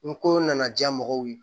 N ko nana diya mɔgɔw ye